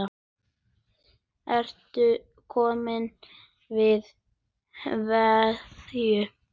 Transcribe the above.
Ertu kominn að kveðja?